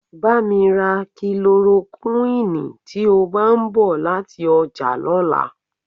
Bá mi ra kílorokúìnnì tí o bá ń bọ̀ láti ọjà lọ́la.